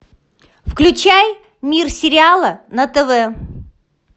включай мир сериала на тв